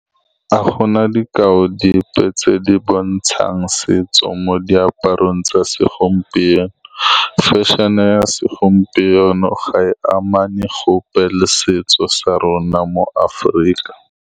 Ga go na dikao dipe tse di bontshang setso mo diaparong tsa segompieno. Fashion-e ya segompieno ga e amana gope le setso sa rona mo Aforika.